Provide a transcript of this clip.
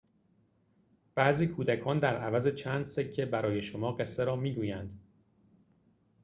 بعضی کودکان در عوض چند سکه برای شما قصه را می‌گویند